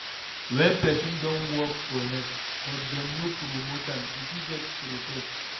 When person don work for years, but dem no promote am, e fit vex protest